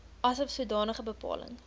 asof sodanige bepaling